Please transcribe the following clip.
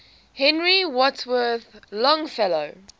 henry wadsworth longfellow